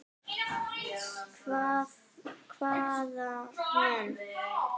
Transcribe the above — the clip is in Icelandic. Hvað með.